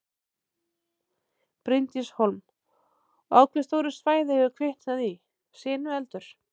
Bryndís Hólm: Og á hve stóru svæði hefur kviknað í sinueldur?